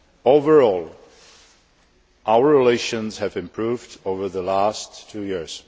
Overall, our relations have improved over the last two years.